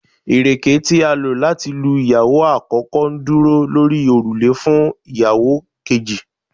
ireke ti a lo lati lu iyawo akoko, nduro lori orule fun iyawo keji